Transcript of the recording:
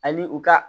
Ani u ka